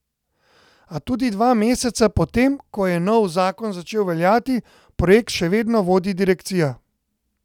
A tudi dva meseca po tem, ko je nov zakon začel veljati, projekt še vedno vodi direkcija.